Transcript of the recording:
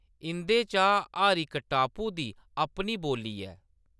इंʼदे चा हर इक टापू दी अपनी बोल्ली ऐ।